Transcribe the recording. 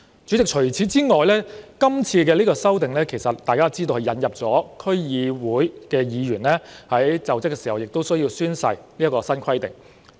主席，除此之外，大家也知道，這次修例亦引入區議員在就職時須宣誓的新規定。